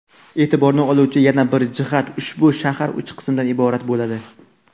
E’tiborni oluvchi yana bir jihat – ushbu shahar uch qismdan iborat bo‘ladi.